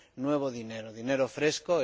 nuevo dinero, dinero fresco.